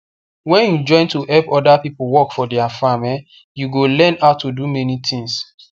when you join to help other people work for their farm um you go learn how to do many things